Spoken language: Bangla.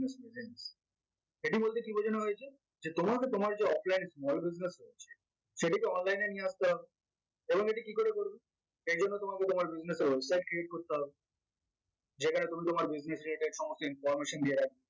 সেটি বলতে কি বোঝানো হয়েছে? যে তোম~তোমার যে offline small business রয়েছে সেটিকে online এ নিয়ে আসতে হবে এবং এটি কি করে করবে? সেই জন্য তোমাকে তোমার website create করতে হবে যেখানে তুমি তোমার business related সমস্ত information দিয়ে রাখ